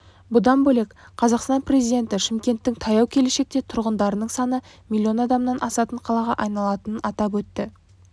бұдан бөлек қазақстан президенті шымкенттің таяу келешекте тұрғындарының саны миллион адамнан асатын қалаға айналатынын атап өтті